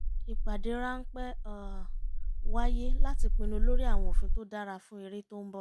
ìpádé ráńpẹ́ wáyé láti pinnu lórí àwọn òfin tó dára fún erè tó ń bọ̀